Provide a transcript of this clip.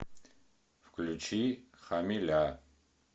включи хамиля